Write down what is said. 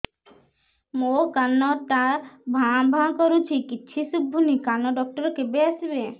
ମୋ କାନ ଟା ଭାଁ ଭାଁ କରୁଛି କିଛି ଶୁଭୁନି କାନ ଡକ୍ଟର କେବେ ଆସିବେ